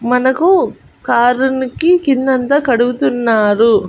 మనకు కారునికి కిందంతా కడుగుతున్నారు.